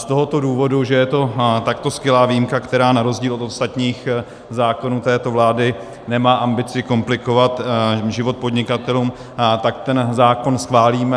Z tohoto důvodu, že je to takto skvělá výjimka, která na rozdíl od ostatních zákonů této vlády nemá ambici komplikovat život podnikatelům, tak ten zákon schválíme.